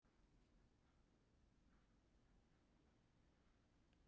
Tónleikunum lýkur á miðnætti